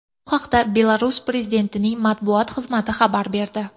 Bu haqda Belarus prezidentining matbuot xizmati xabar berdi .